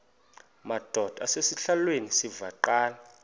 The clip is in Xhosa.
madod asesihialweni sivaqal